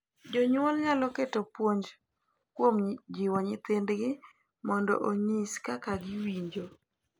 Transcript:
Jonyuol nyalo keto puonj kuom jiwo nyithindgi mondo onyis kaka giwinjo,